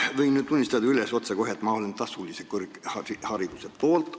Ma võin nüüd otsekohe üles tunnistada, et ma olen tasulise kõrghariduse poolt.